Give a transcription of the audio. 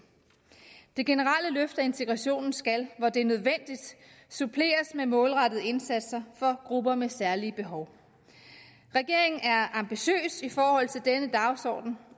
det generelle løft af integrationen skal hvor det er nødvendigt suppleres med målrettede indsatser for grupper med særlige behov regeringen er ambitiøs i forhold til denne dagsorden